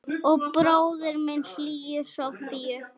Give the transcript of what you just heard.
Og bróðir minn hlýju Sofíu.